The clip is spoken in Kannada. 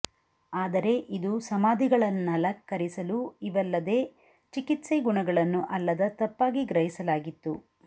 ಆದರೆ ಇದು ಸಮಾಧಿಗಳನ್ನಲಂಕರಿಲು ಇವಲ್ಲದೆ ಚಿಕಿತ್ಸೆ ಗುಣಗಳನ್ನು ಅಲ್ಲದ ತಪ್ಪಾಗಿ ಗ್ರಹಿಸಲಾಗಿತ್ತು